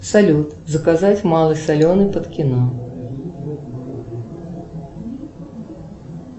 салют заказать малый соленый под кино